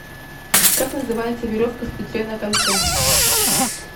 как называется веревка с петлей на конце